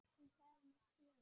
Hún sagði mér sögur.